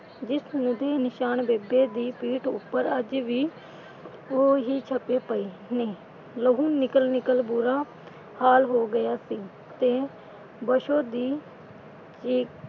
ਜਿਸਮ ਦੇ ਨਿਸ਼ਾਨ ਬੇਬੇ ਦੀ ਪੀਟ ਉੱਪਰ ਅੱਜ ਵੀ, ਉਹ ਹੀ ਛਪੇ ਪਏ ਨੇ, ਲਹੂ ਨਿਕਲ ਨਿਕਲ ਬੁਰਾ ਹਾਲ ਹੋ ਗਿਆ ਸੀ ਤੇ ਬਸੋ ਦੀ ਚੀਕ,